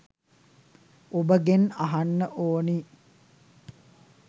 ඔබගෙන් අහන්න ඕනි.